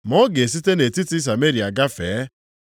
Ma ọ ga-esite nʼetiti Sameria gafee.